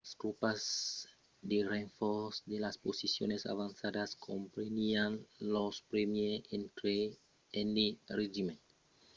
las tropas de renfòrç de las posicions avançadas comprenián los 1èr e 3n regiments de new hampshire de 200 òmes jos la direccion dels colonèls john stark e james reed venguèron totes dos generals aprèp